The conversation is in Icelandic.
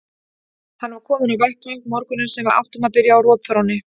Hann var kominn á vettvang morguninn sem við áttum að byrja á rotþrónni.